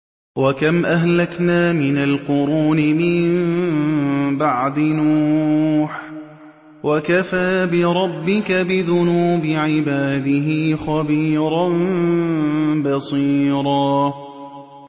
وَكَمْ أَهْلَكْنَا مِنَ الْقُرُونِ مِن بَعْدِ نُوحٍ ۗ وَكَفَىٰ بِرَبِّكَ بِذُنُوبِ عِبَادِهِ خَبِيرًا بَصِيرًا